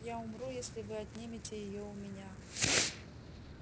я умру если вы отнимете её у меня